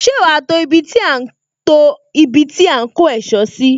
Ṣé wá to ibi tí a ń to ibi tí a ń kó ẹ̀sọ́?